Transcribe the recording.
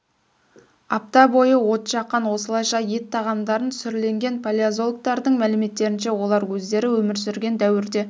апта бойы от жаққан осылайша ет тағамдарын сүрлеген палеозологтардың мәліметтерінше олар өздері өмір сүрген дәуірде